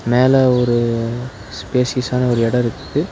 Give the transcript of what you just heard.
மேல ஒரு ஸ்பேசியஸ்ஸான ஒரு எடோ இருக்கு.